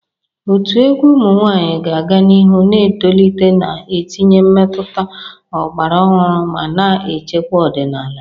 Otu egwu ụmụ nwanyị ga-aga n'ihu na-etolite, na-etinye mmetụta ọgbara ọhụrụ ma na-echekwa ọdịnala.